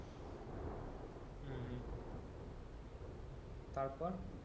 হম হম তারপর